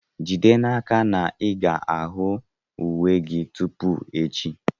Jide n'aka na ị ga-ahụ uwe gị tupu echi!